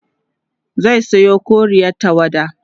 zai Sayo koriyar tawada